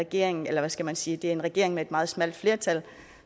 regering eller hvad skal man sige det er en regering med et meget smalt flertal